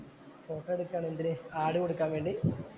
Photo എടുക്കുകയാണ് എന്തിനു ad കൊടുക്കാന്‍ വേണ്ടി.